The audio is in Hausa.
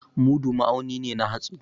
Mudu ma'auni ne na hatsi.